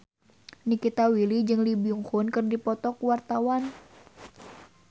Nikita Willy jeung Lee Byung Hun keur dipoto ku wartawan